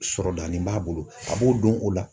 Sɔrɔdani b'a bolo a b'o dɔn o la.